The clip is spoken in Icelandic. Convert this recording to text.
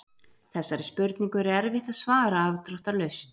Þessari spurningu er erfitt að svara afdráttarlaust.